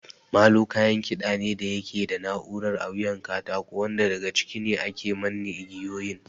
Molo kayan kiɗa ne da yake da na'urar a wuyan katako wanda daga ciki ake manne igiyoyin.